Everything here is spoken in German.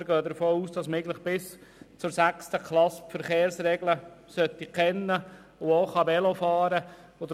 Wir gehen davon aus, dass man die Verkehrsregeln bis zur sechsten Klasse eigentlich kennen sollte und auch Velo fahren kann.